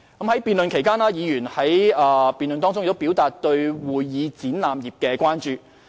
在辯論期間，議員表達對會議展覽業的關注。